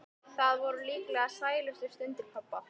Það voru líklega sælustu stundir pabba.